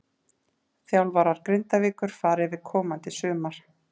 Þjálfarar Grindavíkur fara yfir komandi sumar.